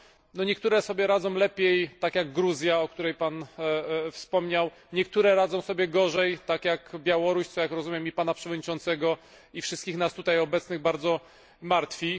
No, niektóre sobie radzą lepiej, tak jak Gruzja o której Pan wspomniał inne radzą sobie gorzej, tak jak Białoruś, co, jak rozumiem, i Pana Przewodniczącego, i wszystkich nas tutaj obecnych bardzo martwi.